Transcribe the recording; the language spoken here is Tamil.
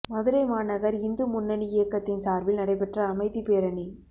மதுரை மாநகா் இந்து முன்னணி இயக்கத்தின் சாா்பில் நடைபெற்ற அமைதிப் பேரணி